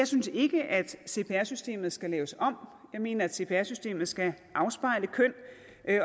synes ikke at cpr systemet skal laves om jeg mener at cpr systemet skal afspejle køn